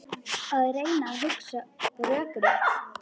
Að reyna að hugsa rökrétt